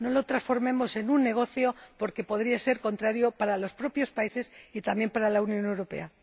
No lo transformemos en un negocio, porque podría ser contrario para los propios países y también para la Unión Europea.